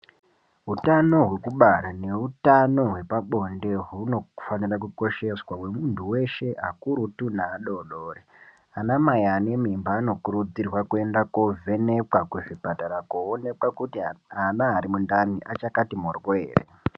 Hutano hwekubara neutano hwepabonde hunofanirwa kukosheswa hwemuntu wese akurutu neadodori anamai anemimba anokurudzirwa kuenda kovhenekwa kuzvipatara kunooneka kuti ana arimundani achakati mboryo here.